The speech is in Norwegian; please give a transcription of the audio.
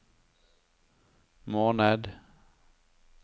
måned